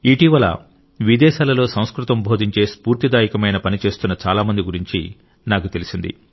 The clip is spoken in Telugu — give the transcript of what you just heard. ఇటీవల విదేశాలలో సంస్కృతం బోధించే స్ఫూర్తిదాయకమైన పని చేస్తున్న చాలా మంది గురించి నాకు తెలిసింది